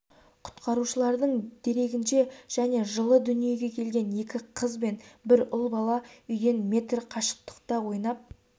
құтқарушылардың дерегінше және жылы дүниеге келген екі қыз бен бір ұл бала үйден метр қашықтықта ойнап